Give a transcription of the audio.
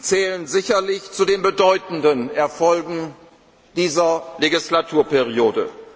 Parlament zählen sicherlich zu den bedeutenden Erfolgen dieser Wahlperiode.